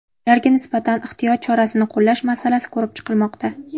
Ularga nisbatan ehtiyot chorasini qo‘llash masalasi ko‘rib chiqilmoqda.